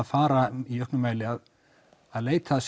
fara í auknum mæli að leita af